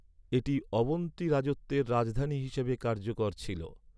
এটি অবন্তী রাজত্বের রাজধানী হিসাবে কার্যকর ছিল।